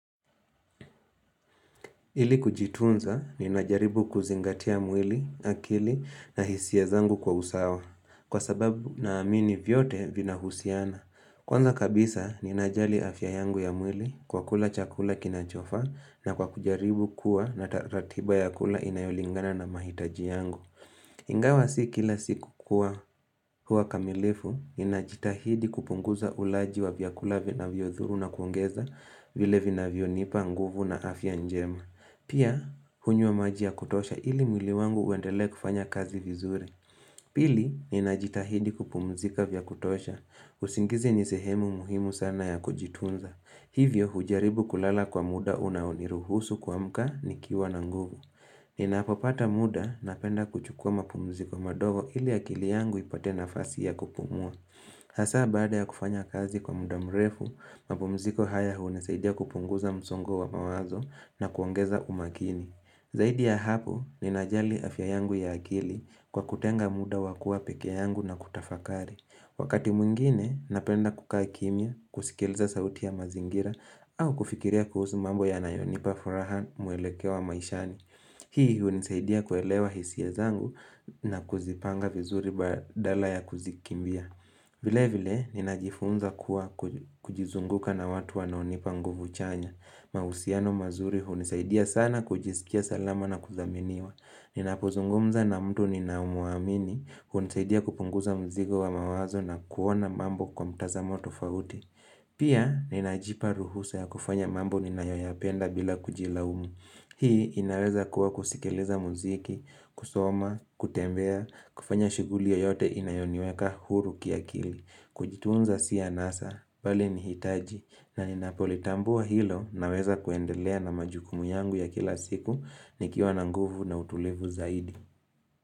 Ili kujitunza, ninajaribu kuzingatia mwili, akili na hisia zangu kwa usawa, kwa sababu naamini vyote vinahusiana. Kwanza kabisa, ninajali afya yangu ya mwili kwa kula chakula kinachofaa na kwa kujaribu kuwa na ta ratiba ya kula inayolingana na mahitaji yangu. Ingawa si kila siku kuwa huwa kamilifu, ninajitahidi kupunguza ulaji wa vyakula vinavyodhuru na kuongeza vile vinavyonipa nguvu na afya njema. Pia, hunywa maji ya kutosha ili mwili wangu uendelee kufanya kazi vizuri. Pili, ninajitahidi kupumzika vya kutosha. Usingizi ni sehemu muhimu sana ya kujitunza. Hivyo, hujaribu kulala kwa muda unaoniruhusu kuamka nikiwa na nguvu. Ninapopata muda napenda kuchukua mapumziko madogo ili akili yangu ipate nafasi ya kupumua. Hasaa baada ya kufanya kazi kwa muda mrefu, mapumziko haya hunisaidia kupunguza msongo wa mawazo na kuongeza umakini. Zaidi ya hapo ninajali afya yangu ya akili kwa kutenga muda wa kuwa pekee yangu na kutafakari. Wakati mwingine napenda kukaa kimya, kusikiliza sauti ya mazingira au kufikiria kuhusu mambo yanayonipa furaha mwelekeo wa maishani. Hii hunisaidia kuelewa hisia zangu na kuzipanga vizuri badala ya kuzikimbia. Vile vile, ninajifunza kuwa kujizunguka na watu wanaonipa nguvu chanya. Mahusiano mazuri hunisaidia sana kujiskia salama na kuthaminiwa. Ninapozungumza na mtu ninamuamini, hunisaidia kupunguza mzigo wa mawazo na kuona mambo kwa mtazamo tofauti. Pia, ninajipa ruhusa ya kufanya mambo ninayoyapenda bila kujilaumu. Hii inaweza kuwa kusikiliza muziki, kusoma, kutembea, kufanya shughuli yoyote inayoniweka huru kiakili, kujitunza si anasa, bali ni hitaji, na ninapolitambua hilo naweza kuendelea na majukumu yangu ya kila siku nikiwa na nguvu na utulivu zaidi.